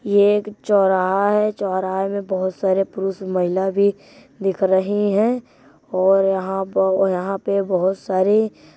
ये एक चौराहा है। चौराहे में बहुत सारे पूरुष महिला भी दिख रही हैं और यहाँ प और यहाँ पे बहुत सारे --